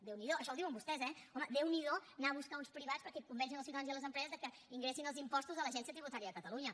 déu n’hi do això ho diuen vostès eh home déu n’hi do anar a buscar uns privats perquè convencin els ciutadans i les empreses de que ingressin els impostos a l’agència tributària de catalunya